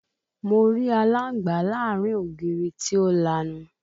Mo rí aláǹgbá láàárín ògiri tí ó lanu